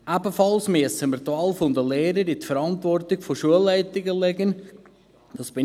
Ebenfalls bin ich der Meinung, dass wir die Wahl der Lehrer in die Verantwortung der Schulleitungen legen müssen.